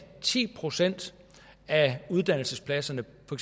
ti procent af uddannelsespladserne på